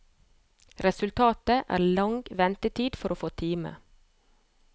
Resultatet er lang ventetid for å få time.